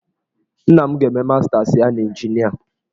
Nna m ga-eme mastas ya n'injinia.